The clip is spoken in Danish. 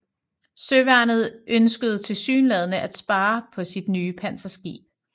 Søværnet ønskede tilsyneladende at spare på sit nye panserskib